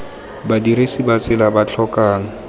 badirisi ba tsela ba tlhokang